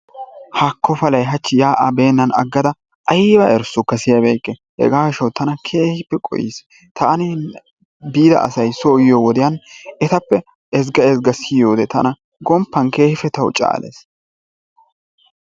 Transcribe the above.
Haako palay hachchi yaa'aa beenaan agadda ayba erissokka siyabeeykke hegaa gishshawu tana keehippe qohiis, taani biya asay so yiyoo wodiyan etappe ezziga ezzga siyode tana gomppan keehippe tawu caalees.